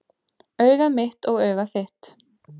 Augað mitt og augað þitt,